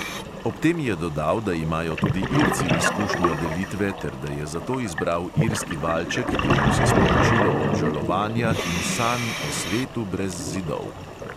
Ob tem je dodal, da imajo tudi irci izkušnjo delitve ter da je zato izbral irski valček, ki nosi sporočilo obžalovanja in sanj o svetu brez zidov.